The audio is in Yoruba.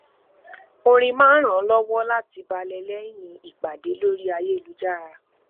orin máa ń ràn án lọwọ láti balẹ lẹyìn ìpàdé lórí ayélujára